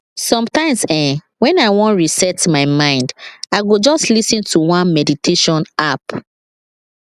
sometimes[um]when i wan reset my mind i go just lis ten to one meditation app